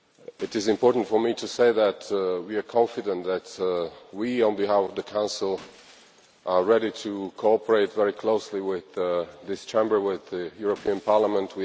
It is important for me to say that we are confident, that we, on behalf of the Council, are ready to cooperate very closely with this Chamber, with the European Parliament.